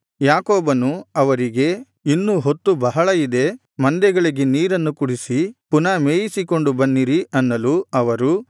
ಯಾಕೋಬನು ಅವರಿಗೆ ಇನ್ನೂ ಹೊತ್ತು ಬಹಳ ಇದೆ ಮಂದೆಗಳಿಗೆ ನೀರನ್ನು ಕುಡಿಸಿ ಪುನಃ ಮೇಯಿಸಿಕೊಂಡು ಬನ್ನಿರಿ ಅನ್ನಲು ಅವರು